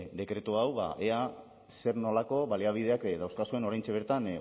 dekretu hau ba ea zer nolako baliabideak dauzkazuen oraintxe bertan